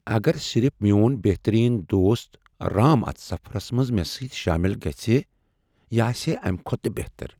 اگر صرف میون بہترین دوست رام اتھ سفرس منٛز مےٚ سۭتہِ شٲمل گژھِہے ۔ یہِ آسِہے امہِ كھوتہٕ تہِ بہتر۔